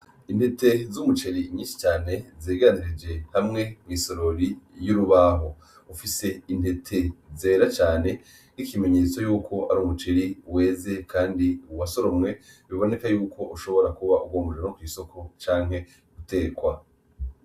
Intete z'umuceri nyinshi cane zegeranirije hamwe mw'isorori y'urubaho, ufise intete zera cane nk'ikimenyetso yuko ari umuceri weze kandi wasoromwe biboneka yuko ushobora kuba ugomba ujanwe kw'isoko canke gutekwa.